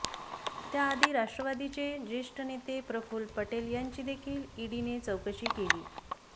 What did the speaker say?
त्याआधी राष्ट्रवादीचे ज्येष्ठ नेते प्रफुल पटेल यांची देखील ईडीने चौकशी केली